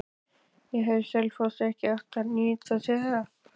En hefði Selfoss ekki átt að nýta sér það?